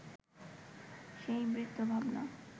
সেই বৃত্তভাবনা